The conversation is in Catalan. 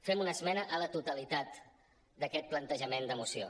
fem una esmena a la totalitat d’aquest plan·tejament de moció